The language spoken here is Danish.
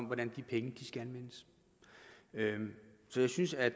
hvordan de penge skal anvendes så jeg synes at